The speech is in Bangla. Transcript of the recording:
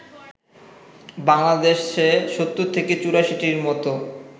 বাংলাদেশে ৭০ থেকে ৮৪টির মতো